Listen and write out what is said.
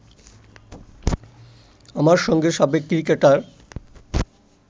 আমার সঙ্গে সাবেক ক্রিকেটার